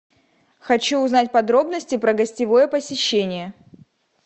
хочу узнать подробности про гостевое посещение